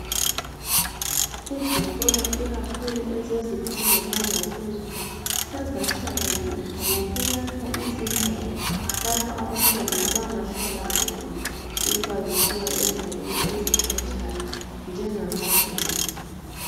Izikolo ikakhulu ezezifundo zangaphezulu sezahlakanipha ngokuyakha izindawo lapho abantwana abangahlala khona uma besuka endaweni ezikhatshana njengamadomu.